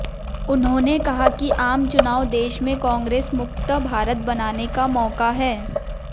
उन्होंने कहा कि आम चुनाव देश में कांग्रेस मुक्त भारत बनाने का मौका है